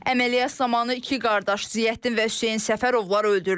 Əməliyyat zamanı iki qardaş Ziyəddin və Hüseyn Səfərovlar öldürülüb.